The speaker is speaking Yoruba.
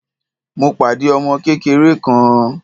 Mo pàdé ọmọ kékeré kan.